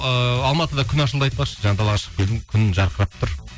ыыы алматыда күн ашылды айтпақшы жаңа далаға шығып келдім күн жарқырап тұр